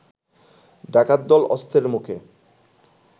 ডাকাতদল অস্ত্রের মুখে